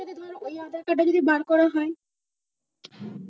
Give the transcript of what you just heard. আধার card টা যদি বার করা হয়?